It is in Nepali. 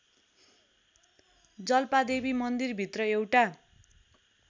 जाल्पादेवी मन्दिरभित्र एउटा